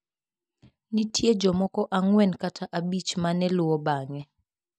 Nitie jomoko ang'wen kata abich ma ne luwo bang'e.